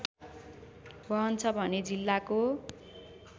वहन्छ भने जिल्लाको